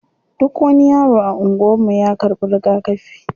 Duk wani yaro a anguwan mu ya karɓi rigakafi.